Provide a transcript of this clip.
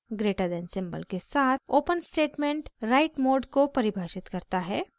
greater than > symbol के साथ open statement write mode को परिभाषित करता है